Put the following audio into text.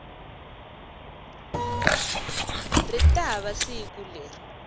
ri ta va siku leri